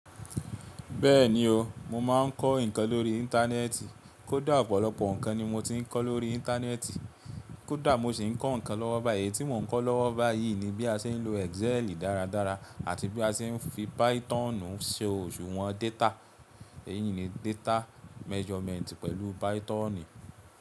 Bẹ́ẹ̀ni o, mo máa ń kọ́ ǹkan lórí Íńtánẹ́ẹ̀tì. Kódà ọ̀pọ̀lọpọ̀ ǹkan ni mo ti ń kọ́ lórí Íńtánẹ́ẹ̀tì, kódà mo sì ń kọ́ ǹkan lọ́wọ́ báyì. Eyi tí mò ń kọ́ lọ́wọ́ báyìí ni bí a ṣe ń lo Exceli dáradára, àti bí a ṣe ń fi Pythonu ṣe òṣùwọ̀n data. Èyí ni data measurement pẹ̀lú Python.